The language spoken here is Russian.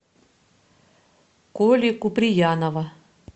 коли куприянова